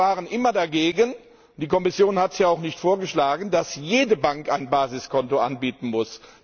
Die Banken waren immer dagegen, und die Kommission hat ja auch nicht vorgeschlagen, dass jede Bank ein Basiskonto anbieten muss.